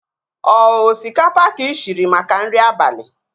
Ọ osikapa ka ị shiri maka nri abalị?